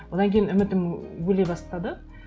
одан кейін үмітім өле бастады